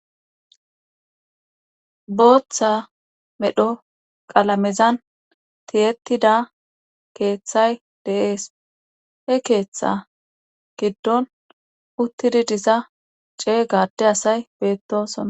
booththa medho qalamezan tiyettida keeththay deees he keeththa giddon uttidi diza cee gade asay beettosona